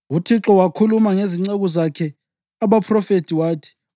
UThixo wakhuluma ngezinceku zakhe abaphrofethi wathi: